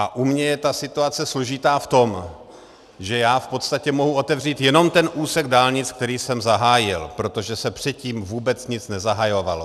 A u mě je ta situace složitá v tom, že já v podstatě mohu otevřít jenom ten úsek dálnic, který jsem zahájil, protože se předtím vůbec nic nezahajovalo.